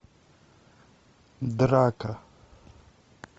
драка